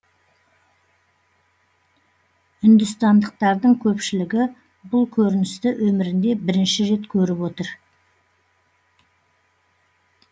үндістандықтардың көпшілігі бұл көріністі өмірінде бірінші рет көріп отыр